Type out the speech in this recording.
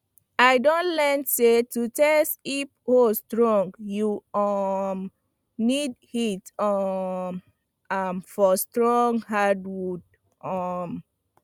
i don learn say to test if hoe strong you um need hit um am for strong hardwood um